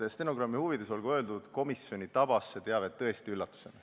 " Stenogrammi huvides olgu öeldud, et komisjoni tabas see teave tõesti üllatusena.